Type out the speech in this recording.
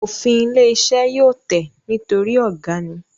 Òfin ilé iṣẹ́ yóò tẹ̀ nítorí ọ̀gá ni